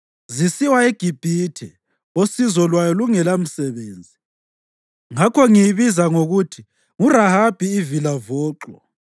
Zisiwa eGibhithe osizo lwayo lungelamsebenzi. Ngakho ngiyibiza ngokuthi nguRahabi ivilavoxo.